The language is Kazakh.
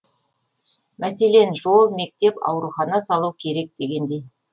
мәселен жол мектеп аурухана салу керек дегендей